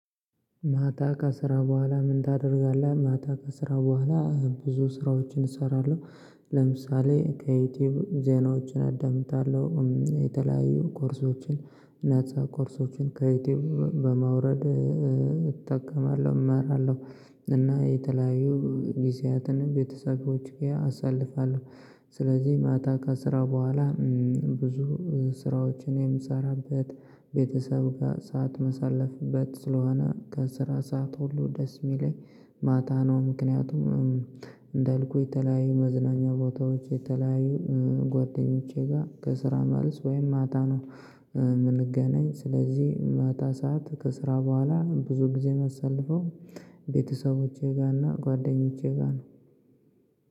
ማታ ከስራ በኋላ ምን ታደርጋለህ? ማታ ከስራ በኋላ ብዙ ስራዎችን እሰራለሁ ለምሳሌ ከዩቲዩብ ዜናዎችን አዳምጣለሁ የተለያዩ ኮርሶችን እና ኮርሶችን ከዩቲዩብ በማውረድ እጠቀማለሁ እማራለሁ እና የተለያዩ ጊዜያትን ቤተሰቦች ጋር አሳልፋለሁ ስለዚህ ማታ ከስራ በኋላ ብዙ ስራዎችን የምሰራበት ቤተሰብ ጋር ሰዓት የማሳለፍበት ስለሆነ ከስራ ሰዓት ሁሉ ደስ የሚለኝ ማታ ነው ምክንያቱም እንዳልኩህ የተለያዩ መዝናኛ ቦታዎች የተለያዩ ጓደኞቼ ጋር ከስራ መልስ ወይም ማታ ነው የምንገናኝ ስለዚህ ማታ ሰዓት ከስራ በኋላ ብዙ ጊዜ የማሳልፈው ቤተሰቦቼ ጋርና ጓደኞቼ ጋር ነው